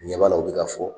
Ɲɛ b'a la o bɛ ka fɔ